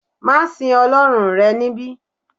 ma sìn ọlọrun rẹ nibi